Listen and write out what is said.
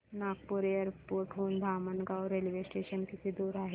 Nagpur airport हून Dhamangaon railway station किती दूर आहे